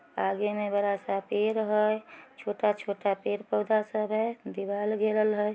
आगे मे बड़ा सा पेड़ है | छोटा-छोटा पेड़-पौधा सब है | दीवाल गिरल है --